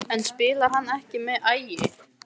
En spilar hann ekki með Ægi?